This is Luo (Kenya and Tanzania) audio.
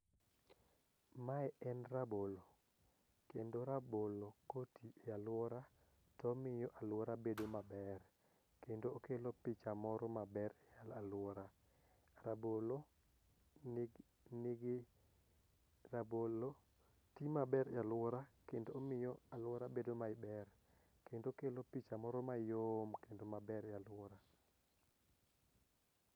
Mae en rabolo kendo rabolo koti e alwora tomiyo alwora bedo maber kendo okelo picha moro maber e alwora. Rabolo ti maber e alwora kendo omi alwora bedo maber kendo okelo picha moro mayom kendo maber e alwora.